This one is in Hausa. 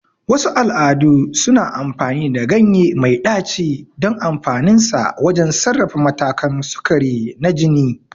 Wasu al'adu suna amfani da ganye mai ɗaci don amfaninsa wajen sarrafa matakan sukari na jini.